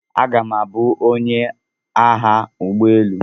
Aga m abụ onye agha ụgbọ elu.